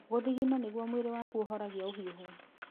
Gũthingina nĩguo mwĩrĩ waku ũhorangia ũhiũhu.